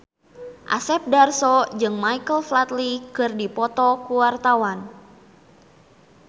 Asep Darso jeung Michael Flatley keur dipoto ku wartawan